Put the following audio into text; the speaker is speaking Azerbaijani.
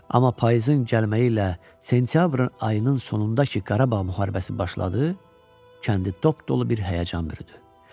Amma payızın gəlməyi ilə sentyabrın ayının sonunda ki, Qarabağ müharibəsi başladı, kəndi top dolu bir həyəcan bürüdü.